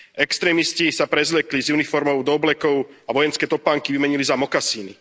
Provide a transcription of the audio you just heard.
Extrémisti sa prezliekli z uniforiem do oblekov a vojenské topánky vymenili za mokasíny.